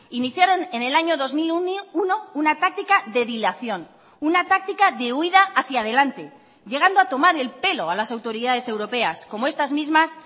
iniciaron en el año dos mil uno una táctica de dilación una táctica de huída hacia adelante llegando a tomar el pelo a las autoridades europeas como estas mismas